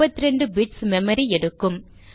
32 bits memory எடுக்கும்